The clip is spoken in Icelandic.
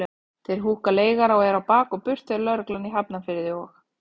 Þeir húkka leigara og eru á bak og burt þegar lögreglan í Hafnarfirði og